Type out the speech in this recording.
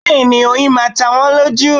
Bẹ́ẹ̀ni oyin máa ta wọ́n lójú